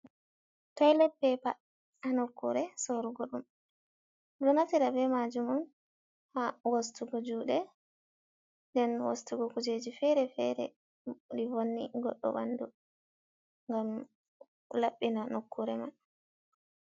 toylet pepa ha nokkure sorugo dum. Ɗonaftida be majumum ha wostugo jude den wostugo kujeji fere fere li vonni goɗdo ɓandu ngam laɓɓina nokkure man.